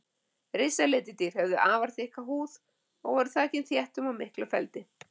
Risaletidýr höfðu afar þykka húð og voru þakin þéttum og miklum feldi.